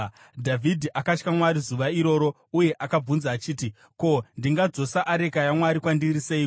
Dhavhidhi akatya Mwari zuva iroro uye akabvunza achiti, “Ko, ndingadzosa areka yaMwari kwandiri seiko?”